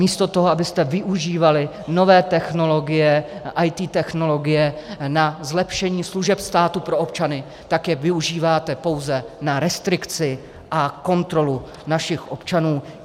Místo toho, abyste využívali nové technologie, IT technologie na zlepšení služeb státu pro občany, tak je využíváte pouze na restrikci a kontrolu našich občanů.